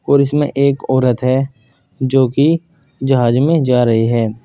और इसमें एक औरत है जो की जहाज में जा रही है।